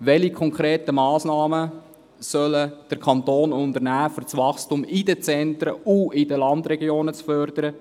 Welche konkreten Massnahmen soll der Kanton treffen, um das Wachstum in den Zentren und in den Landregionen zu fördern?